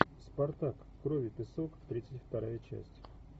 спартак кровь и песок тридцать вторая часть